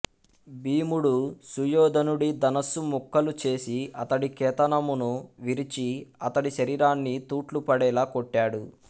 భీముడు సుయోధనుడి ధనస్సు ముక్కలు చేసి అతడి కేతనమును విరిచి అతడి శరీరాన్ని తూట్లు పడేలా కొట్టాడు